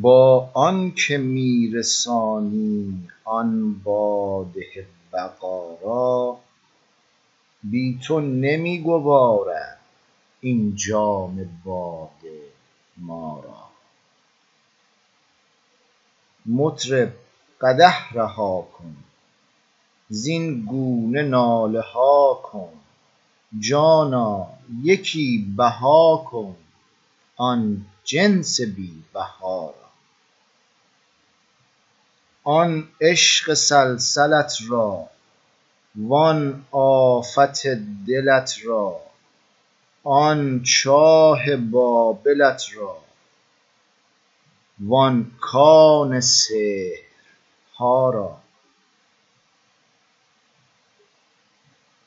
با آن که می رسانی آن باده بقا را بی تو نمی گوارد این جام باده ما را مطرب قدح رها کن زین گونه ناله ها کن جانا یکی بها کن آن جنس بی بها را آن عشق سلسلت را وان آفت دلت را آن چاه بابلت را وان کان سحرها را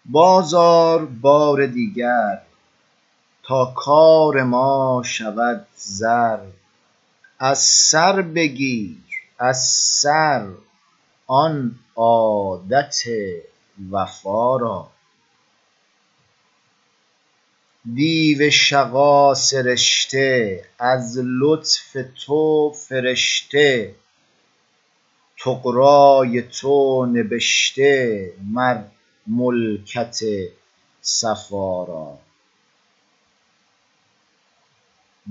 باز آر بار دیگر تا کار ما شود زر از سر بگیر از سر آن عادت وفا را دیو شقا سرشته از لطف تو فرشته طغرای تو نبشته مر ملکت صفا را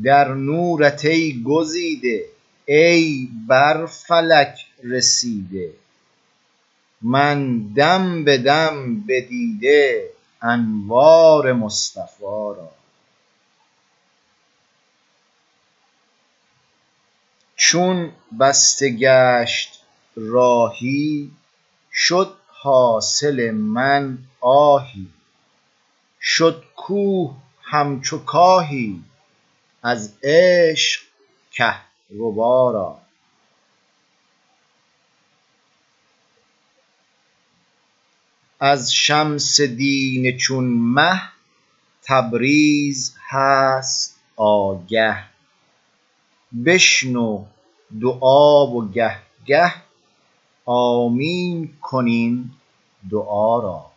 در نورت ای گزیده ای بر فلک رسیده من دم به دم بدیده انوار مصطفا را چون بسته گشت راهی شد حاصل من آهی شد کوه همچو کاهی از عشق کهربا را از شمس دین چون مه تبریز هست آگه بشنو دعا و گه گه آمین کن این دعا را